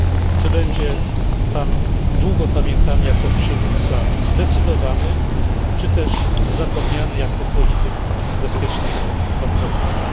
Czy będzie Pan długo pamiętany jako przywódca zdecydowany, czy też zapomniany jako polityk bezpiecznego konformizmu.